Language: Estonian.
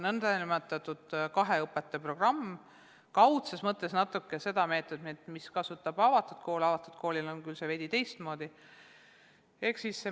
Kaudses mõttes meenutab see natuke meetodit, mida kasutab ka avatud kool, kuid avatud koolil on veidi teistmoodi lähenemine.